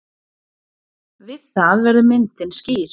Við það verður myndin skýr.